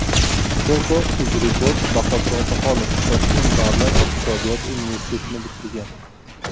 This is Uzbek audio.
Foto UzReport Bahodir Otaxonov Toshkent davlat iqtisodiyot universitetini bitirgan.